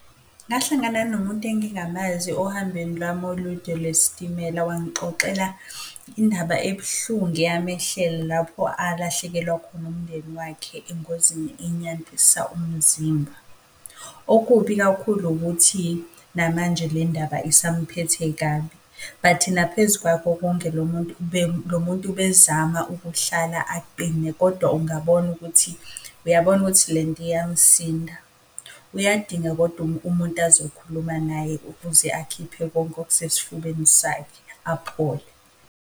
Ngahlangana nomuntu engingamazi ohambweni lami olude lwesitimela, wangixoxela indaba ebuhlungu eyamehlela lapho alahlekelwa khona umndeni wakhe engozini enyandisa umzimba. Okubi kakhulu ukuthi namanje le ndaba usamphethe kabi, but naphezu kwako konke lo muntu lo muntu bezama ukuhlala aqine kodwa ungabona ukuthi, uyabona ukuthi lento iyamsinda. Uyadinga kodwa umuntu ozokhuluma naye ukuze akhiphe konke okusesfubeni sakhe, aphole.